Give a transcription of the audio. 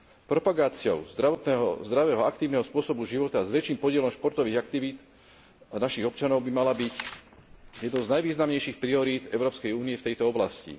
Propagácia zdravého aktívneho spôsobu života s väčším podielom športových aktivít našich občanov by mala byť jednou z najvýznamnejších priorít Európskej únie v tejto oblasti.